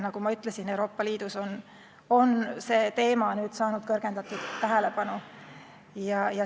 Nagu ma ütlesin, Euroopa Liidus on see teema nüüd saanud kõrgendatud tähelepanu.